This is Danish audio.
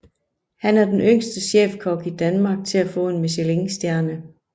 Han er den yngste chefkok i Danmark til at få en Michelin stjerne